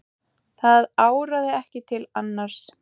Það áraði ekki til annars.